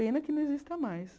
Pena que não exista mais.